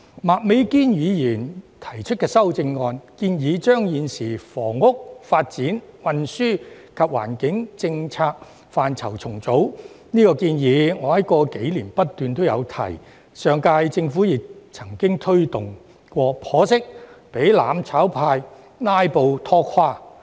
麥美娟議員提出的修正案，建議重組現時房屋、發展、運輸及環境的政策範疇，我在過去數年也不斷提出這項建議，上屆政府亦曾經推動過，但可惜被"攬炒派""拉布"拖垮。